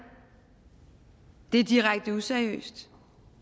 det er direkte useriøst